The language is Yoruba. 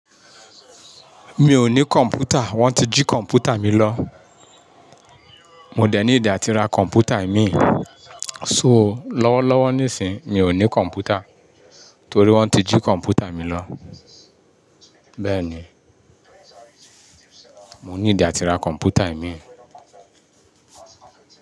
Mi ò ní kọ̀ǹpútà; wọ́n ti jí kọ̀ǹpútà mi lọ. Mo dẹ̀ need ati ra kọ̀ǹpútà omin. So, lọ́wọ́lọ́wọ́ nísìí, mi ò ní kọ̀ǹpútà torí wọ́n ti jí kọ̀ǹpútà mi lọ. Bẹ́ẹ̀ni, mo ní ìdá ti ra kọ̀ǹpútà ẹ̀mí.